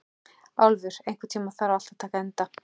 Álfur, einhvern tímann þarf allt að taka enda.